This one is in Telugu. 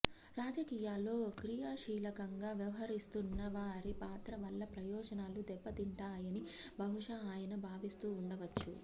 రాజకీయాల్లో క్రియాశీలకంగా వ్యవహరిస్తున్నవారి పాత్ర వల్ల ప్రయోజనాలు దెబ్బ తింటాయని బహుశా ఆయన భావిస్తూ ఉండవచ్చు